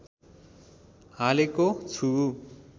हालेको छु